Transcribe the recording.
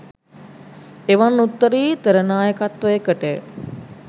එවන් උත්තරීතර නායකත්වයකටය.